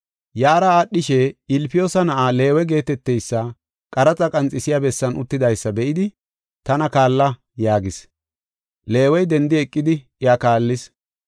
Yaara aadhishe, Ilfiyoosa na7aa Leewe geeteteysi qaraxa qanxisiya bessan uttidaysa be7idi, “Tana kaalla” yaagis. Leewey dendi eqidi iya kaallis.